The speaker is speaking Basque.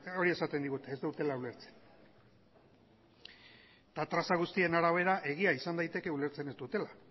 hori esaten digute ez dutela ulertzen eta traza guztien arabera egia izan daiteke ulertzen ez dutela